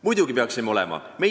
Muidugi peaksime olema!